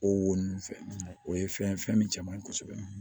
O wo nun fɛ o ye fɛn ye fɛn min cɛ man ɲi kosɛbɛ